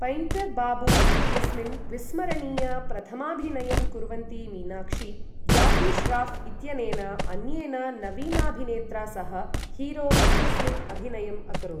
Painter Babu इत्यस्मिन् विस्मरणीय प्रथमाभिनयं कुर्वन्ती मीनाक्षी, जाकि श्राऴ् इत्यनेन अन्येन नवीनाभिनेत्रा सह हीरो इत्यस्मिन् अभिनयम् अकरोत्।